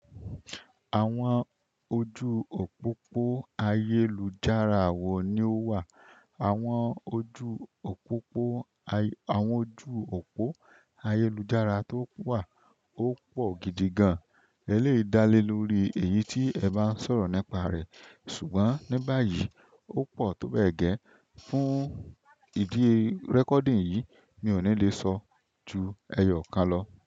Àwọn ojú òpópó ayélujára wò ní ó wà, àwọn ojú òpópó àwọn ojú òpó ayélujára tó wà ó pọ̀ gidi gan-an. Ẹ lè dálé lórí èyí tí ẹ bá ń sọ̀rọ̀ nípa rẹ̀. Ṣùgbọ́n ní báyìí ó pọ̀ tó bẹ́ẹ̀ gẹ́. Fún ìdí rẹ́kọ̀dìì yìí mi ò ní lè sọ ju ẹyọ kan lọ.